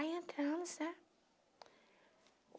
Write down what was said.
Aí entramos, né?